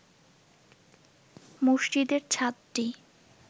মসজিদের ছাদটি